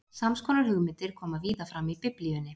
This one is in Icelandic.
Sams konar hugmyndir koma víða fram í Biblíunni.